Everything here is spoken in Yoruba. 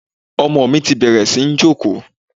Ọmọ mi ti bẹ̀rẹ̀ sí ní jókòó.